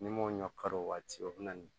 Ni m'o ɲɔ kari o waati o bɛ na ni